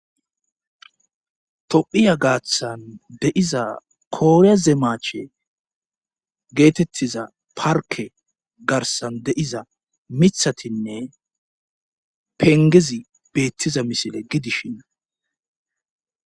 tophiya gaaththan deiza kooree zeemache geetettiza parke garsan de7iza mithatinne pengezi beettiza misile gidishinna